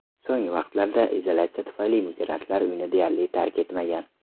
So‘nggi vaqtlarda izolyatsiya tufayli migrantlar uyni deyarli tark etmagan.